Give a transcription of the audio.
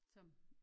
Som